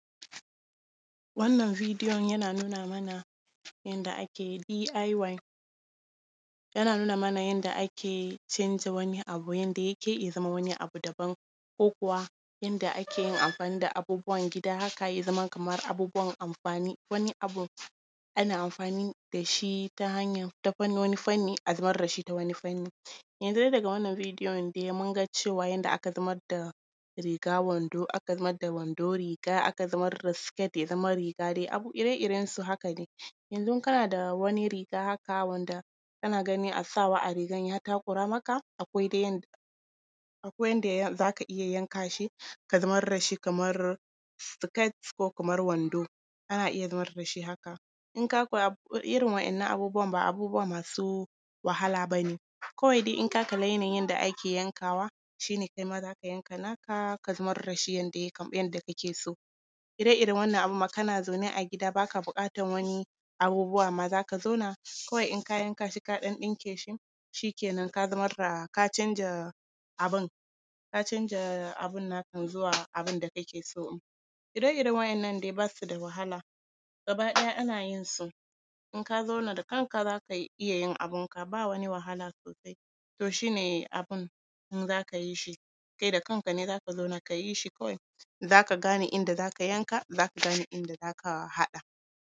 Wannan videon yana nuna mana yadda ake yin B.I.Y. Yana nuna mana yadda ake canja wani abu, yadda yake yi ya zama wani abu na daban, ko kuwa yadda ake yin amfani da abubuwan gida haka ya zama kamar abubuwan amfani. Wani abin ana amfani da shi ta hanyan… ta fannoni… fannin a zamar da shi ta wani fanni. Yanzu dai daga wannan videon dai mun ga cewa, yadda aka zamar da riga-wando, aka zamar da wando-riga, aka zamar da skirt ya zama riga dai abu ire-irensu haka dai. Yanzu kana da wani riga haka, wanda kana gani sawa a rigan ya takura maka, akwai dai yadda… akwai yadda za ka iya yanka shi, ka zamar da shi kamar skirt ko kamar wando, ana iya zamar da shi haka. In ka kula, irin waɗannan abubuwan, ba abubuwa masu wahala ba ne, kawai dai in ka kalli yanayin yadda ake yankawa, shi ne kai ma za ka yanka naka, ka zamar da shi yadda kake so. Ire-iren wannan abin ma kana zaune a gida, ba ka buƙatan wani abubuwa, amma za ka zauna, kawai in ka yanka shi, ka ɗan ɗinke shi, shi kenan, ka zamar da… ka canja abin, ka canja abin nakan zuwa abin da kake so. Ire-iren waɗannan dai ba su da wahala, gaba ɗaya ana yin su. In ka zauna, da kanka za ka iya yin abinka, ba wani wahala sosai. To shi ne abin, in za ka yi shi, kai da kanka ne za ka zauna, ka yi shi, kawai za ka gane inda za ka yanka, za ka gane inda za ka haɗa.